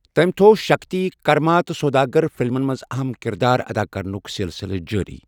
تٔمۍ تھوٚو 'شکتی'، 'کرما' تہٕ 'سوداگر' فلمَن منٛز اَہَم کردار ادا کرنُک سلسلہٕ جٲرِی۔